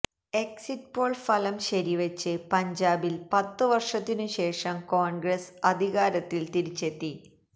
exit poll ഫലം ശരിവെച്ച് പഞ്ചാബില് പത്ത് വര്ഷത്തിനു ശേഷം കോണ്ഗ്രസ് അധികാരത്തില് തിരിച്ചത്തെി